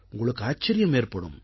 உங்களுக்கு ஆச்சரியம் ஏற்படும்